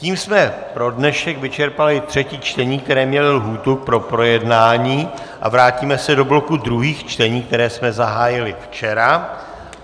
Tím jsme pro dnešek vyčerpali třetí čtení, která měla lhůtu pro projednání, a vrátíme se do bloku druhých čtení, která jsme zahájili včera.